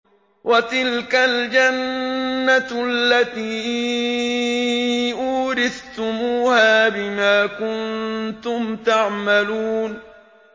وَتِلْكَ الْجَنَّةُ الَّتِي أُورِثْتُمُوهَا بِمَا كُنتُمْ تَعْمَلُونَ